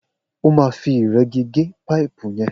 O má fi ìregí gé paipu yen